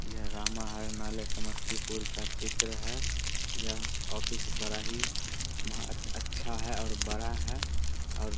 यह रामा हरनालय समस्तीपुर का चित्र है यह ऑफिस बड़ा ही बहुत अच्छा है और बड़ा है और --